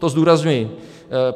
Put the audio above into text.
To zdůrazňuji.